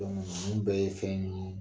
sɔn bɛɛ ye fɛn de ye